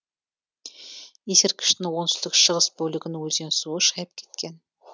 ескерткіштің оңтүстік шығыс бөлігін өзен суы шайып кеткен